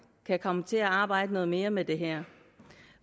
kan komme til at arbejde noget mere med det her